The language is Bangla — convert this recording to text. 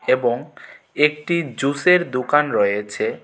এবং একটি জুসের দুকান রয়েছে।